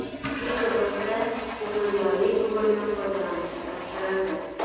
Bekobodda gemodializ bo‘limi foydalanishga topshirildi.